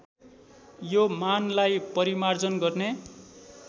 यो मानलाई परिमार्जन गर्ने